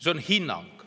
See on hinnang.